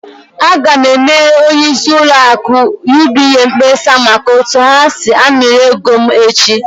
Aga m emere onyeisi ụlọ akụ UBA mkpesa maka otu ha si amịrị ego m echi!